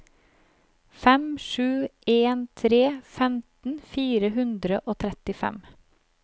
fem sju en tre femten fire hundre og trettifem